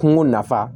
Kungo nafa